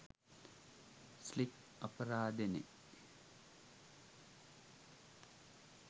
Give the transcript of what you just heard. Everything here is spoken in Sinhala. ස්ලික් අපරාදෙනේ